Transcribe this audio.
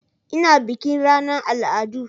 Ina bikin ranar al'adu